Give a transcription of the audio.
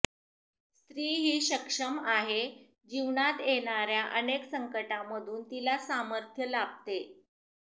स्त्री ही सक्षम आहे जीवनात येणाऱया अनेक संकटामधून तिला सामर्थ्य लाभते